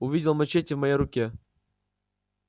увидел мачете в моей руке